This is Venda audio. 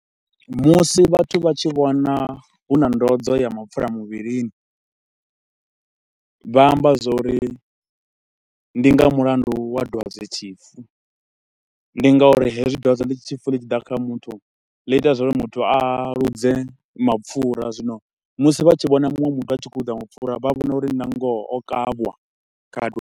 Musi vhathu vha tshi vhona hu na ndozwo ya mapfura muvhilini, vha amba zwa uri ndi nga mulandu wa dwadzetshifu. Ndi nga uri hezwi dwadzetshifu ḽi tshi ḓa kha muthu ḽi ita zwa uri muthu a luze mapfura, zwino musi vha tshi vhona muṅwe muthu a tshi khou loser mapfura vha vhona uri nangoho o kavhwa kha.